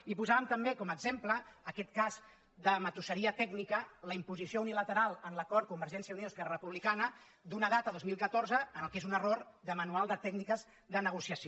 i posàvem també com a exemple aquest cas de matusseria tècnica la imposició unilateral en l’acord convergència i unió · esquerra republicana d’una data dos mil catorze en el que és un error de manual de tècniques de negociació